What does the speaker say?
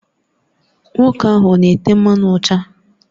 Nwoke ahụ ọ na-ete mmanụ ụcha?